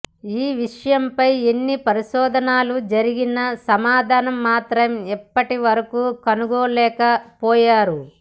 ఈ విషయం పై ఎన్ని పరిశోధనలు జరిగినా సమాధానం మాత్రం ఇప్పటి వరకూ కనుగొనలేకపోయారు